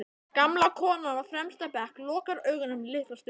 Gamla konan á fremsta bekk lokar augunum litla stund.